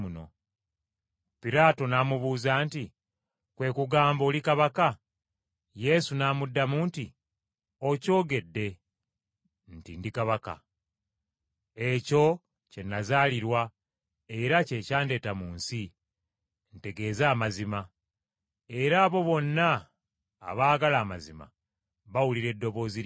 Piraato n’amubuuza nti, “Kwe kugamba oli kabaka?” Yesu n’amuddamu nti, “Okyogedde nti ndi kabaka. Ekyo kye nnazaalirwa era kye kyandeeta mu nsi, ntegeeze amazima. Era abo bonna abaagala amazima bawulira eddoboozi lyange.”